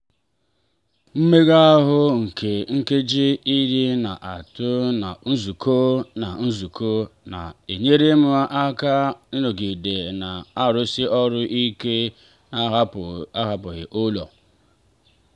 mmega ahụ nke nkeji iri n'etiti nzukọ na nzukọ na-enyere m aka ịnọgide na-arụsi ọrụ ike n'ahapụghị ụlọ.